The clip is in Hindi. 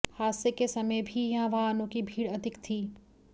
हादसे के समय भी यहां वाहनों की भीड़ अधिक थी